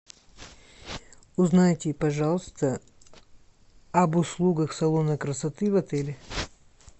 узнайте пожалуйста об услугах салона красоты в отеле